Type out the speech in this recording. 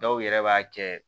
Dɔw yɛrɛ b'a kɛ